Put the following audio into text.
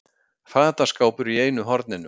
Fataskápur í einu horninu.